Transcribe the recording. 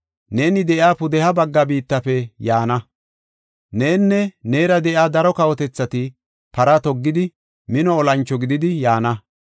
Neeni de7iya pudeha bagga biittafe yaana. Nenne neera de7iya daro kawotethati para toggidi, mino olancho gididi, yaana.